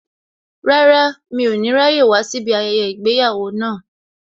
Rárá, mi ò ní ráyè wá síbí ayẹyẹ ìgbéyàwó náà